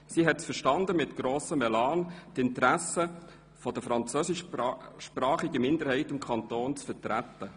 Sie hat es verstanden, mit grossem Elan die Interessen der französischsprachigen Minderheit des Kantons zu vertreten.